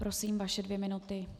Prosím, vaše dvě minuty.